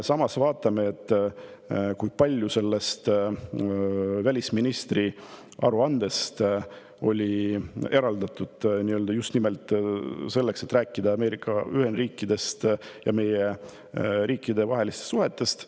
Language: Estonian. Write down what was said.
Samas, vaatame, kui palju oli välisministri aruandes eraldatud aega selleks, et rääkida Ameerika Ühendriikidest ja meie riikide vahelistest suhetest.